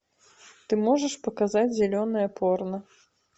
ты можешь показать зеленое порно